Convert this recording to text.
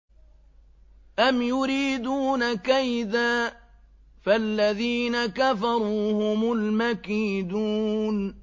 أَمْ يُرِيدُونَ كَيْدًا ۖ فَالَّذِينَ كَفَرُوا هُمُ الْمَكِيدُونَ